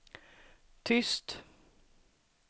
tyst